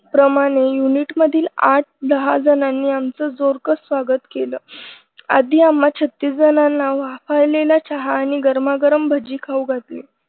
प्रमाणे unit मधील आठ दहा जणांनी आमचं जोरदार स्वागत केलं आधी आम्हा छत्तीस जणांना वाफाळलेला चहा आणि गरमागरम भजी खाऊ घातले.